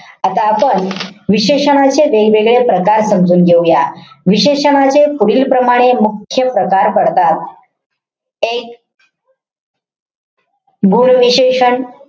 आता आपण विशेषणाचे वेगवेगळे प्रकार समजून घेऊया. विशेषणाचे पुढीलप्रमाणे मुख्य प्रकार पडतात. एक गुण विशेषण.